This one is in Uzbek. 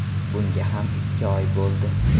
Bunga ham ikki oy bo‘ldi”.